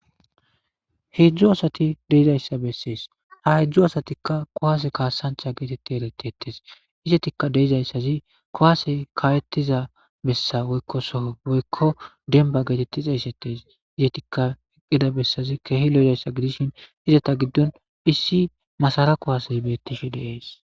heedzdo asati deizayssa bessees ha hedzdo asatikka kowaase kaasancha geetetti eretetes izetikka deizayssazi kowase kaawettiza bessa woykkosoo woykko denba geetetti xeesetes izetikka eqqida bessazi kehi lo7ezayssa gidishin izata giddon issi masara kowase beettishe deees